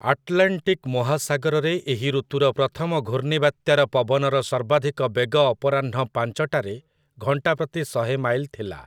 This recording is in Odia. ଆଟଲାଣ୍ଟିକ୍ ମହାସାଗରରେ ଏହି ଋତୁର ପ୍ରଥମ ଘୂର୍ଣ୍ଣିବାତ୍ୟାର ପବନର ସର୍ବାଧିକ ବେଗ ଅପରାହ୍ନ ପାଞ୍ଚଟାରେ ଘଣ୍ଟାପ୍ରତି ଶହେ ମାଇଲ୍ ଥିଲା ।